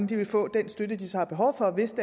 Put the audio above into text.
vil få den støtte de så har behov for hvis